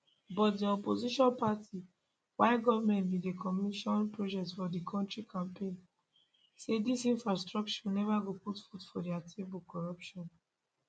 but di opposition party while goment bin dey commission projects for di kontri campaign say dis infrastructure neva go put food for dia table corruption